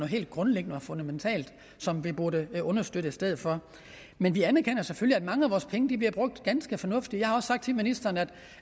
helt grundlæggende og fundamentalt som vi burde understøtte i stedet for men vi anerkender selvfølgelig at mange af vores penge bliver brugt ganske fornuftigt jeg har også sagt til ministeren at